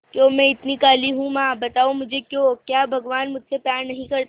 क्यों मैं इतनी काली हूं मां बताओ मुझे क्यों क्या भगवान मुझसे प्यार नहीं करते